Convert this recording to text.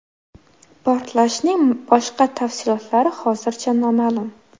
Portlashning boshqa tafsilotlari hozircha noma’lum.